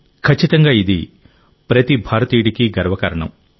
ఖచ్చితంగా ఇది ప్రతి భారతీయుడికి గర్వకారణం